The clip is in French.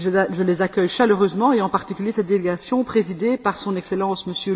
Je les accueille chaleureusement et, en particulier, cette délégation présidée par Son Excellence M.